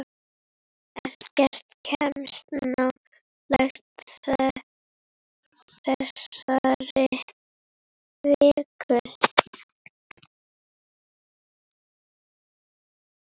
Ekkert kemst nálægt þessari viku.